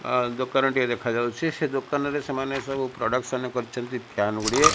ଆ ଦୋକାନଟିଏ ଦେଖାଯାଉଛି ସେ ଦୋକାନରେ ସେମାନେ ସବୁ ପ୍ରଡକ୍ସନ କରିଛନ୍ତି ଫ୍ୟାନ୍ ଗୁଡ଼ିଏ।